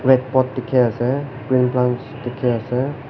dikhi ase green plants dikhi ase.